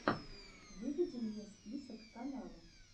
выведи мне список каналов